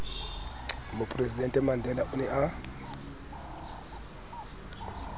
mopresidente mandela o ne a